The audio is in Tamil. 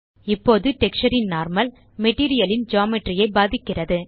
இப்போது டெக்ஸ்சர் ன் நார்மல் மெட்டீரியல் ன் ஜியோமெட்ரி ஐ பாதிக்கிறது